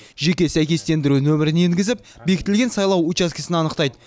жеке сәйкестендіру нөмірін енгізіп бекітілген сайлау учаскесін анықтайды